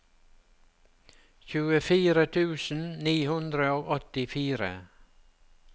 tjuefire tusen ni hundre og åttifire